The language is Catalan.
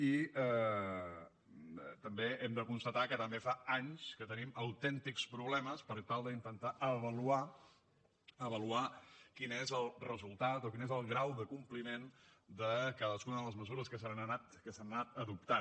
i també hem de constatar que també fa anys que tenim autèntics problemes per tal d’intentar avaluar avaluar quin és el resultat o quin és el grau de compliment de cadascuna de les mesures que s’han anat adoptant